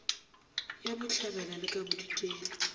ya bohlabela le ka bodikela